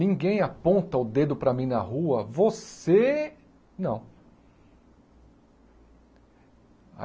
Ninguém aponta o dedo para mim na rua, você não.